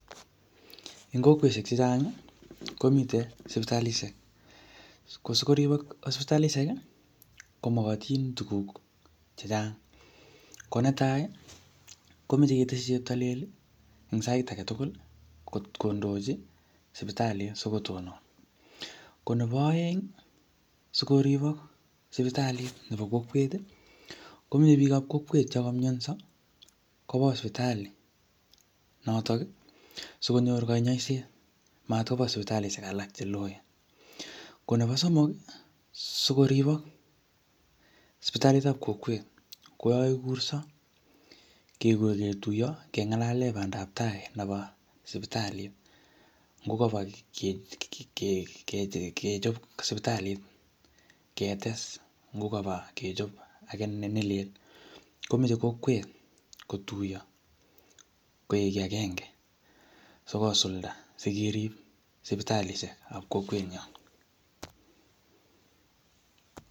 Eng kokweshek chechang, komite sipitalishek. Ko sikoribok sipitalishek, ko mokotin tuguk chechang. Ko netai, komeche keteshi Cheptalel eng sait age tugul kot kondochi sipitalit asikotonon. Ko nebo aeng, asikoribok sipitalit nebo kokwet, komeche biikab kokwet che kamyonso, koba sipitalit notok, sikonyor kanyaiset. Matkoba sipitalishek alak che loen. Ko nebo somok, sikoribok sipitalitab kokwet, ko yakakikurso. Kekur ketuyo, kengalale bandab tai nebo sipitalit, ngo kobo um kechop sipitalit, ketes ngot kobo kechop age ne lel. Komeche kokwet kotuyo koek kiy agnge sikosulda, sikerib sipitaishekab kokwet nyo